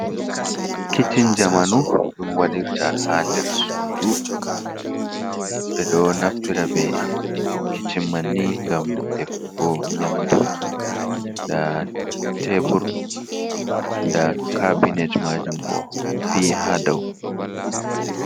Kichin jamanu ɗum waɗirta ha nder suudu, ɓe ɗo naftira be kichin manni ngam defugo nyamdu, ndaa teebur, ndaa kaabinet maajum bo fii ha dau.